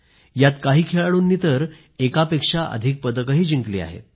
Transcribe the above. यात काही खेळाडूंनी तर एकापेक्षा अधिक पदक जिंकली आहेत